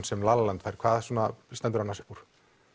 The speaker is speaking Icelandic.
sem la la land fær hvað stendur annars upp úr